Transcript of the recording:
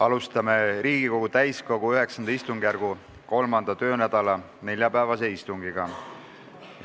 Alustame Riigikogu täiskogu IX istungjärgu kolmanda töönädala neljapäevast istungit.